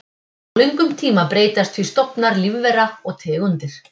Á löngum tíma breytast því stofnar lífvera og tegundir.